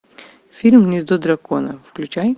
фильм гнездо дракона включай